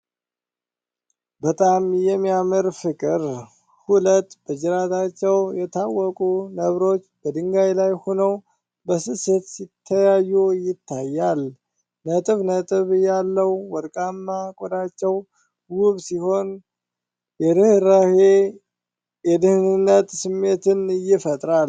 በጣም የሚያምር ፍቅር! ሁለት በጅራታቸው የታወቁ ነብሮች በድንጋይ ላይ ሆነው በስስት ሲተያዩ ይታያሉ። ነጥብ ነጥብ ያለው ወርቃማ ቆዳቸው ውብ ሲሆን፣ የርህራሄና የደህንነት ስሜትን ይፈጥራል።